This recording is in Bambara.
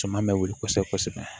Caman bɛ wuli kosɛbɛ kosɛbɛ